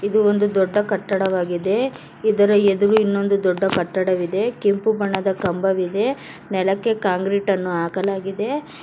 ಇದು ಒಂದು ದೊಡ್ಡ ಕಟ್ಟಡವಾಗಿದೆ ಇದರ ಎದುರು ಇನ್ನೊಂದು ದೊಡ್ಡ ಕಟ್ಟಡವಿದೆ ಕೆಂಪು ಬಣ್ಣದ ಕಂಬವಿದೆ ನೆಲಕ್ಕೆ ಕಾಂಕ್ರೀಟ್ ಅನ್ನು ಹಾಕಲಾಗಿದೆ.